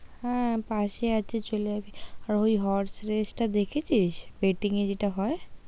হ্যাঁ পাশে আছে চলে আসবি, আমি বলছি Horse race টা দেখেছিস? বেটিং যেটা হয়।